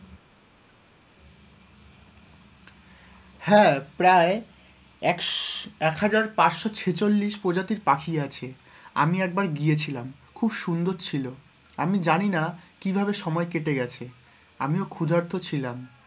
হ্যাঁ, প্রায় একশ এক হাজার পাঁচশো ছেচল্লিশ প্রজাতির পাখি আছে, আমি একবার গিয়েছিলাম খুব সুন্দর ছিল, আমি জানিনা কিভাবে সময় কেটে গেছে, আমিও ক্ষুদার্থ ছিলাম,